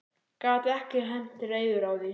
Gat ekki hent reiður á því.